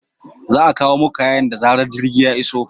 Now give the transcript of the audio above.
Za a kawo muku kayan da zarar jirgin ya iso.